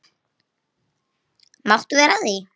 Máttu vera að því?